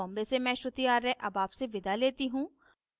I I T Bombay से मैं श्रुति आर्य अब आपसे विदा लेती हूँ